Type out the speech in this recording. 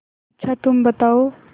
अच्छा तुम बताओ